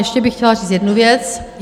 Ještě bych chtěla říct jednu věc.